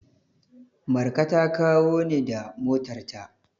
Marka ta kawo ni da motarta.